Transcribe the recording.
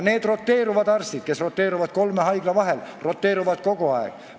Need arstid, kes roteeruvad kolme haigla vahel, roteeruvad kogu aeg.